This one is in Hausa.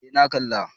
Eh na kala